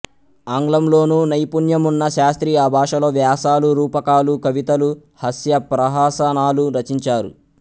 ఆంగ్లంలోనూ నైపుణ్యమున్న శాస్త్రి ఆ భాషలో వ్యాసాలు రూపకాలు కవితలు హాస్య ప్రహసనాలు రచించారు